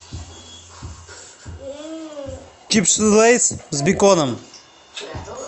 чипсы лейс с беконом